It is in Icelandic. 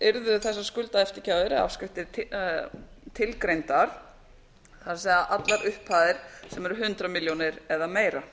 yrðu þessar skuldaeftirgjafir eða afskriftir tilgreindar það er allar upphæðir sem eru hundrað milljónir eða meira